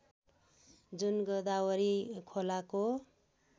जुन गोदावरी खोलाको